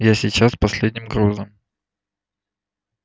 я сейчас с последним грузом